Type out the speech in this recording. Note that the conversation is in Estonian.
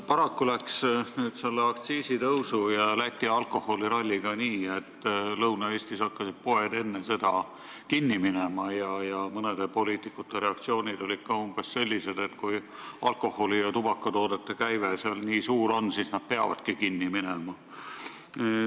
Paraku on nii, et aktsiisitõusu ja Läti alkoholiralli tõttu hakkasid Lõuna-Eesti poed kinni minema ja mõne poliitiku reaktsioon on olnud umbes selline, et kui alkoholi- ja tubakatoodete käive nendes poodides nii suur on, siis need peavadki kinni minema.